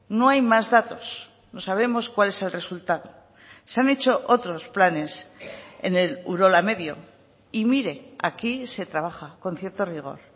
no hay más datos no sabemos cuál es el resultado se han hecho otros planes en el urola medio y mire aquí se trabaja con cierto rigor